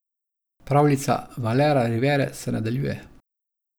Pravljica Valera Rivere se nadaljuje.